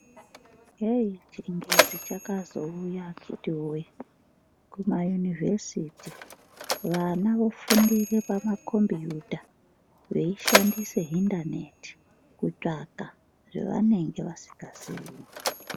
Yeyi chingezi chakazouya akitiwoye kuma univhesiti vana vofundire pama combuita veishandise hindaneti kutsvaka zvevanenge vasingazi.